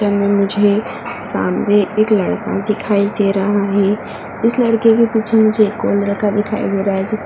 मुझे सामने एक लड़का दिखाई दे रहा है। इस लड़के के पीछे मुझे एक और लड़का दिखाई दे रहा है जिस --